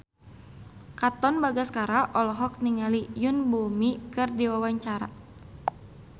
Katon Bagaskara olohok ningali Yoon Bomi keur diwawancara